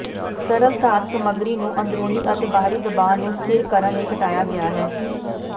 ਤਰਲ ਧਾਤ ਸਮੱਗਰੀ ਨੂੰ ਅੰਦਰੂਨੀ ਅਤੇ ਬਾਹਰੀ ਦਬਾਅ ਨੂੰ ਸਥਿਰ ਕਰਨ ਲਈ ਘਟਾਇਆ ਗਿਆ ਹੈ